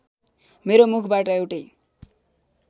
मेरो मुखबाट एउटै